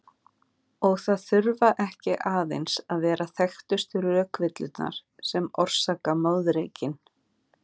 Og það þurfa ekki aðeins að vera þekktustu rökvillurnar sem orsaka moðreykinn.